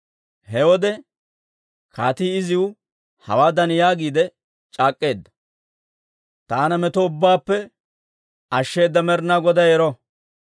He wode kaatii iziw hawaadan yaagiide c'aak'k'eedda; «Taana meto ubbaappe ashsheeda Med'inaa Goday ero!